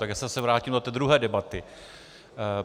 Tak já se zase vrátím do té druhé debaty.